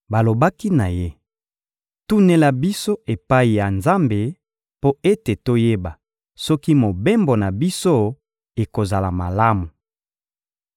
Balobaki na ye: — Tunela biso epai ya Nzambe mpo ete toyeba soki mobembo na biso ekozala malamu.